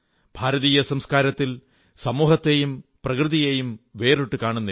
ഭാരതീയ സംസ്കാരത്തിൽ സമൂഹത്തേയും പ്രകൃതിയേയും വേറിട്ടു കാണുന്നില്ല